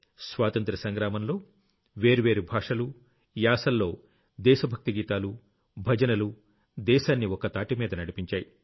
స్వాతంత్ర్య సంగ్రామంలో వేర్వేరు భాషలు యాసల్లో దేశ భక్తి గీతాలు భజనలు దేశాన్ని ఒక్కతాటిమీద నడిపించాయి